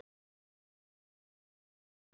Þeim var ekki trúað.